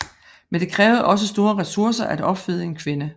Men det krævede også store resurser at opfede en kvinde